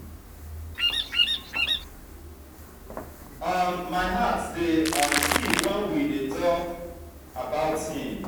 um my heart dey um skip wen we dey dey talk about him